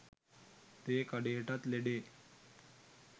තේ කඩේටත් ලෙඩේ